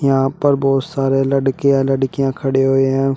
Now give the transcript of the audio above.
यहां पर बहुत सारे लड़के या लड़कियां खड़े हुए हैं।